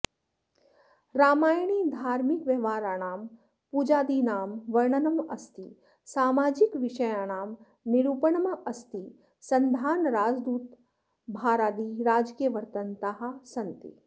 रामायणे धार्मिकव्यवहाराणां पूजादिनां वर्णनमस्ति सामाजिकविषयाणां निरुपणमस्ति सन्धान राजदूताभारादि राजकीयवृत्तान्ताः सन्ति